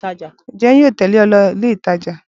Ǹjẹ́ yóò tèlé o lọ ilé ìtajà?